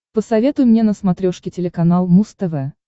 посоветуй мне на смотрешке телеканал муз тв